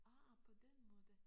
Ah på den måde